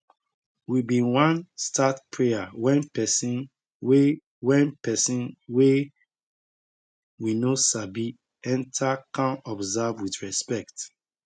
we bin wan start prayer wen pesin wey wen pesin wey we no sabi enter kan observe with respect